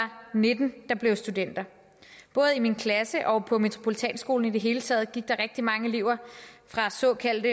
nitten der blev studenter både i min klasse og på metropolitanskolen i det hele taget gik der mange elever fra såkaldt